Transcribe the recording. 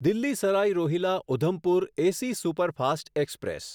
Delhi Sarai Rohilla Udhampur AC superfast express